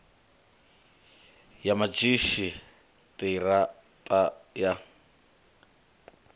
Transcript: ya madzhisi ṱira ṱa ya